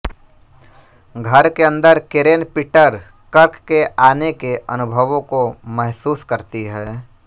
घर के अंदर केरेन पीटर कर्क के आने के अनुभवों को महसूस करती है